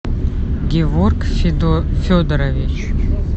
геворг федорович